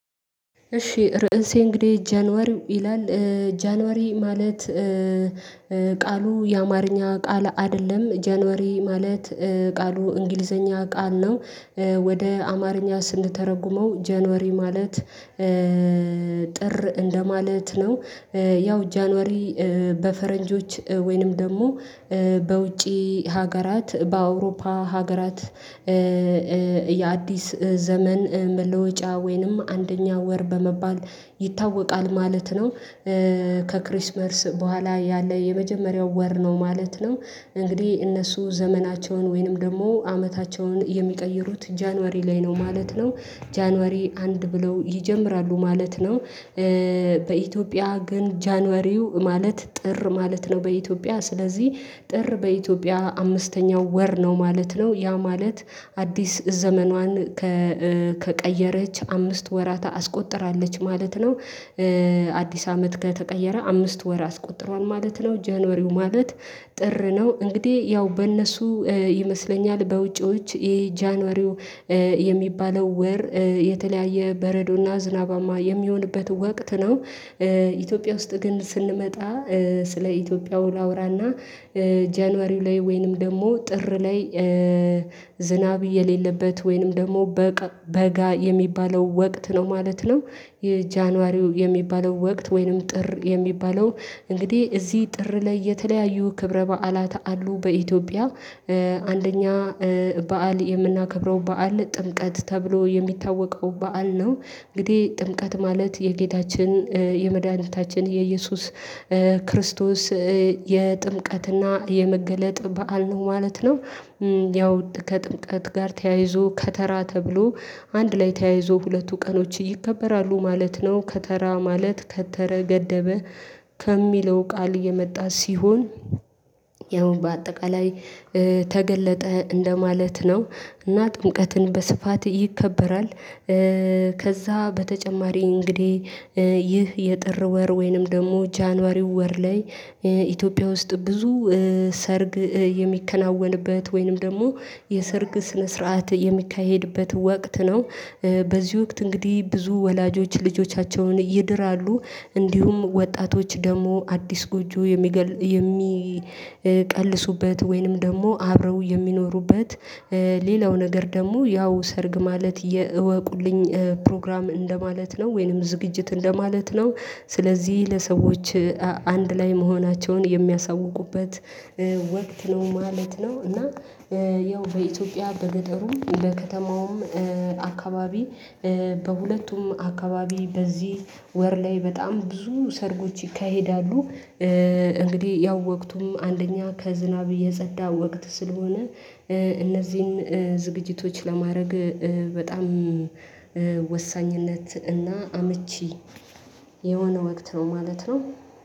እሺ ርዕሴ እንግዲህ ጃንዋሪ ይላል። ጃንዋሪ ማለት ቃሉ የአማርኛ ቃል አይደለም ጃንዋሪ ማለት ቃሉ እንግሊዘኛ ቃል ነው። ወደ አማርኛ ስንተረጉመው ጃንዋሪ ማለት ጥር እንደማለት ነው። ያው ጃንዋሪ በፈረንጆች ወይንም ደግሞ በውጪ ሀገራት በአውሮፓ ሀገራት የአዲስ ዘመን መለወጫ ወይንም አንደኛ ወር በመባል ይታወቃል ማለት ነው። ከክሪስመርስ በኋላ ያለ የመጀመሪያው ወር ነው ማለት ነው። እንግዲህ እነሱ ዘመናቸውን ወይንም ደግሞ አመታቸውን የሚቀይሩት ጃንዋሪ ላይ ነው ማለት ነው ጃንዋሪ አንድ ብለው ይጀምራሉ ማለት ነው። በኢትዮጵያ ግን ጃንዋሪ ማለት ጥር ማለት ነው። በኢትዮጵያ ስለዚህ ጥር በኢትዮጵያ አምስተኛው ወር ነው ማለት ነው። ያ ማለት አዲስ ዘመኗን ከቀየረች አምስት ወራት አስቆጥራለች ማለት ነው። አዲስ አመት ከተቀየረ አምስት ወር አስቆጥሯል ማለት ነው ጃንዋሪ ማለት ጥር ነው። እንግዲህ ያው በእነሱ ይመስለኛል በውጭዎች ይሄ ጃንዋሪ የሚባለው ወር የተለያየ በረዶና ዝናባማ የሚሆንበት ወቅት ነው። ኢትዮጵያ ውስጥ ግን ስንመጣ ስለ ኢትዮጵያው ላውራና ጃንዋሪ ላይ ወይንም ደግሞ ጥር ላይ ዝናብ የሌለበት ወይንም ደግሞ በጋ የሚባለው ወቅት ነው ማለት ነው። የጃንዋሪ የሚባለው ወቅት ወይንም ጥር የሚባለው እንግዲህ እዚህ ጥር ላይ የተለያዩ ክብረ በዓላት አሉ በኢትዮጵያ። አንደኛ በዓል የምናከብረው በዓል ጥምቀት ተብሎ የሚታወቀው በዓል ነው። እንግዲህ ጥምቀት ማለት የጌታችን የመድኃኒታችን የኢየሱስ ክርስቶስ የጥምቀትና የመገለጥ በዓል ነው ማለት ነው። ያው ከጥምቀት ጋር ተያይዞ ከተራ ተብሎ አንድ ላይ ተያይዞ ሁለቱ ቀኖች ይከበራሉ ማለት ነው። ከተራ ማለት ከተረ ገደበ ከሚለው ቃል የመጣ ሲሆን ያው በአጠቃላይ ተገለጠ እንደማለት ነው። እና ጥምቀትን በስፋት ይከበራል። ከዛ በተጨማሪ እንግዲህ ይህ የጥር ወር ወይንም ደግሞ ጃንዋሪ ወር ላይ ኢትዮጵያ ውስጥ ብዙ ሰርግ የሚከናወንበት ወይንም ደግሞ የሰርግ ስነ ስርዓት የሚካሄድበት ወቅት ነው። በዚህ ወቅት እንግዲህ ብዙ ወላጆች ልጆቻቸውን ይድራሉ እንዲሁም ወጣቶች ደግሞ አዲስ ጎጆ የሚቀልሱበት ወይንም ደግሞ አብረው የሚኖሩበት። ሌላው ነገር ደግሞ ያው ሰርግ ማለት የእወቁልኝ ፕሮግራም እንደማለት ነው ወይንም ዝግጅት እንደማለት ነው። ስለዚህ ለሰዎች አንድ ላይ መሆናቸውን የሚያሳውቁበት ወቅት ነው ማለት ነው። እና ያው በኢትዮጵያ በገጠሩ በከተማውም አካባቢ በሁለቱም አካባቢ በዚህ ወር ላይ በጣም ብዙ ሰርጎች ይካሄዳሉ። እንግዲህ ያው ወቅቱም አንደኛ ከዝናብ የጸዳ ወቅት ስለሆነ እነዚህን ዝግጅቶች ለማድረግ በጣም ወሳኝነት እና አመቺ የሆነ ወቅት ነው ማለት ነው